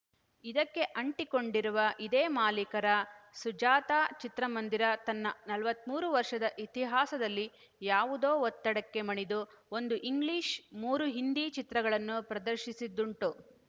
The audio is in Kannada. ಇದಕ್ಕೆ ಅಂಟಿಕೊಂಡಿರುವ ಇದೇ ಮಾಲೀಕರ ಸುಜಾತಾ ಚಿತ್ರಮಂದಿರ ತನ್ನ ನಲವತ್ತ್ ಮೂರು ವರ್ಷದ ಇತಿಹಾಸದಲ್ಲಿ ಯಾವುದೋ ಒತ್ತಡಕ್ಕೆ ಮಣಿದು ಒಂದು ಇಂಗ್ಲಿಷ್‌ ಮೂರು ಹಿಂದಿ ಚಿತ್ರಗಳನ್ನು ಪ್ರದರ್ಶಿಸಿದ್ದುಂಟು